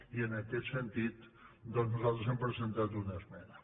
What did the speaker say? i en aquest sentit doncs nosaltres hem presentat una esmena